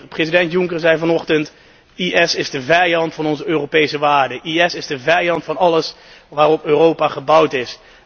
President Juncker zei vanochtend IS is de vijand van onze Europese waarden, IS is de vijand van alles waarop Europa gebouwd is.